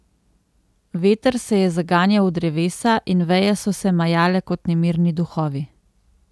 Veter se je zaganjal v drevesa in veje so se majale kot nemirni duhovi.